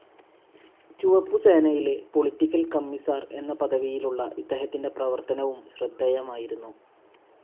ചുവപ്പു സേനയിലെ political commissar എന്ന പദവിയിലുള്ള ഇദ്ദേഹത്തിന്റെ പ്രവർത്തനവും ശ്രദ്ധേയമായിരുന്നു.